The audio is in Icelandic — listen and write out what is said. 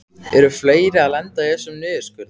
Eru fleiri að lenda í þessum niðurskurði?